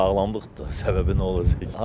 Sağlamlıqdır da, səbəbi nə olacaq?